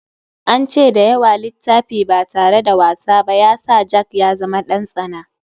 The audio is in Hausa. An ce da yawa littafi ba tare da wasa ba ya sa jack ya zama ɗan tsana.